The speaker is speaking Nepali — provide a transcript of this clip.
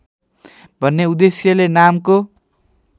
भन्ने उद्देश्यले नामको